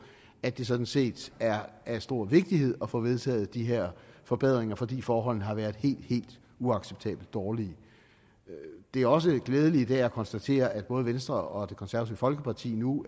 at det sådan set er af stor vigtighed at få vedtaget de her forbedringer fordi forholdene har været helt helt uacceptabelt dårlige det er også glædeligt i dag at konstatere at både venstre og det konservative folkeparti nu